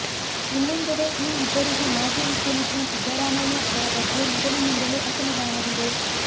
ಇನ್ನೊಂದೆಡೆ ಈ ಇಬ್ಬರಿಗೂ ಮಾಜಿ ಮುಖ್ಯಮಂತ್ರಿ ಸಿದ್ದರಾಮಯ್ಯ ಅವರ ಬಗ್ಗೆ ಮೊದಲಿನಿಂದಲೂ ಅಸಮಾಧಾನವಿದೆ